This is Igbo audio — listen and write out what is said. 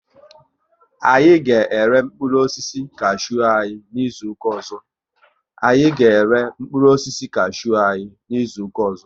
Anyị ga ere mkpụrụ osisi kashew anyi n'izuka ọzọ